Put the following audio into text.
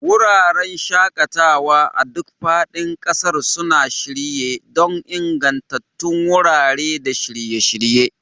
Wuraren shaƙatawa a duk faɗin ƙasar suna shirye don ingantattun wurare da shirye-shirye.